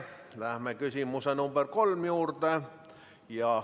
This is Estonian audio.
Läheme küsimuse nr 3 juurde.